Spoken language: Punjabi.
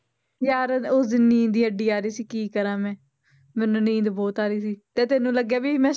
ਯਾਰ ਉਸ ਦਿਨ ਨੀਂਦ ਹੀ ਏਡੀ ਆ ਰਹੀ ਸੀ ਕੀ ਕਰਾਂ ਮੈਂ, ਮੈਨੂੰ ਨੀਂਦ ਬਹੁਤ ਆ ਰਹੀ ਸੀ ਤੇ ਤੈਨੂੰ ਲੱਗਿਆ ਵੀ ਮੈਂ